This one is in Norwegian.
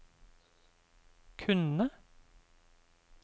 kunne